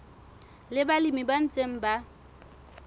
le balemi ba ntseng ba